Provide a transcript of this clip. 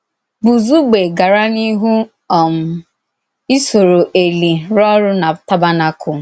Bùzugbè gàrà n’íhù um ísòrò Èlì rùọ́ orù na tàbérnàkùl. um